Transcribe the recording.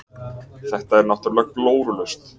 Þetta er náttúrulega glórulaust.